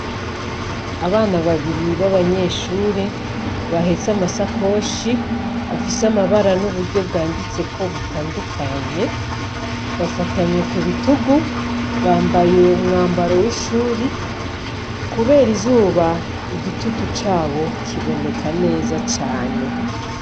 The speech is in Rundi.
Abana babiri b'abanyeshure bahetse amasakoshi afise amabara n'uburyo bwanditseko butandukanye, bafatanye ku bitugu, bambaye umwambaro w'ishuri, kubera izuba igitutu cabo kiboneka neza cane.